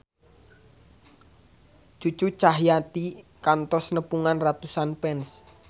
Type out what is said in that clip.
Cucu Cahyati kantos nepungan ratusan fans